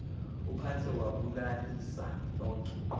uphantse wabulalisa lonke